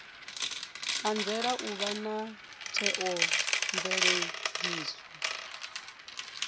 anzela u vha na theomveledziso